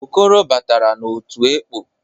Okoro batara n'otu ekpọ.